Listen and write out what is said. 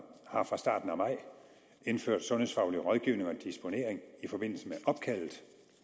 har fra starten af maj indført sundhedsfaglig rådgivning og disponering i forbindelse med opkaldet